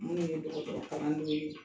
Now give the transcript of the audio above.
Minnu ye dɔgɔtɔrɔkalandenw ye